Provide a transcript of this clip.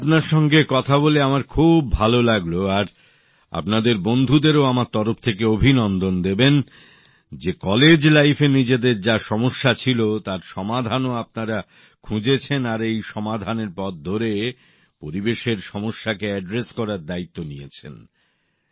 ময়ূর আপনার সঙ্গে কথা বলে আমার খুব ভালো লাগলো আর আপনাদের বন্ধুদেরও আমার তরফ থেকে অভিনন্দন জানাবেন যে কলেজ জীবনে নিজেদের যা সমস্যা ছিল তার সমাধানও আপনারা খুঁজেছেন আর এই সমাধানের পথ ধরে পরিবেশের সমস্যাকে সমাধান করার দায়িত্ব নিয়েছেন